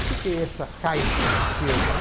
O que que é essa caixa esquerda?